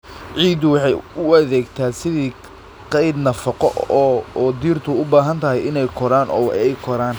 Ciiddu waxay u adeegtaa sidii kayd nafaqo oo dhirtu u baahan tahay inay koraan oo ay koraan.